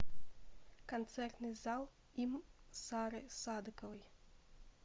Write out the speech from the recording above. концертный зал им сары садыковой